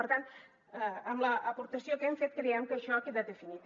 per tant amb l’aportació que hem fet creiem que això queda definit